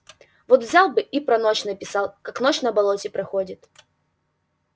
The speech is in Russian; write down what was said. вот взял бы и про ночь написал как ночь на болоте проходит